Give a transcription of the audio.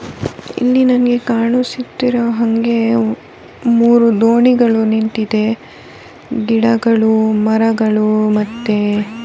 ಇಲ್ಲಿ ನನಗೆ ಕಾಣಿಸುತ್ತಿರುವ ಹಂಗೆ ಮೂರು ದೋಣಿಗಳು ನೀಂತಿದೆ ಗಿಡಗಳು ಮರಗಳು ಮತ್ತೆ --